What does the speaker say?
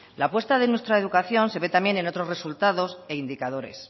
la apuesta de nuestra educación se ve también en otros resultados e indicadores